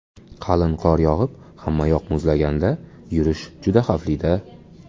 Qalin qor yog‘ib, hammayoq muzlaganda yurish juda xavfli-da!